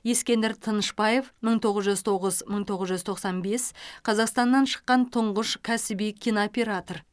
ескендір тынышбаев мың тоғыз жүз тоғыз мың тоғыз жүз тоқсан бес қазақстаннан шыққан тұңғыш кәсіби кинооператор